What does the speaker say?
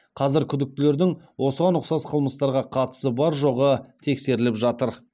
қазір күдіктілердің осыған ұқсас қылмыстарға қатысы бар жоғы тексеріліп жатыр